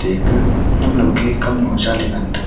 eka lamnaw ke lamnaw ke kamnu hoshaley ngan taiga.